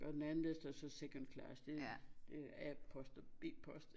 Og den anden der står så second class det det a-post og b-post